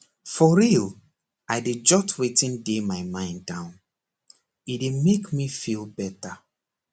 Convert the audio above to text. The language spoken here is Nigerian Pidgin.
for real i dey jot wetin dey my mind down e dey make me feel better